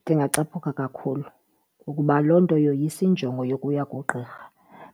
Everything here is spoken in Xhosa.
Ndingacaphuka kakhulu ukuba loo nto yoyisa injongo yokuya kugqirha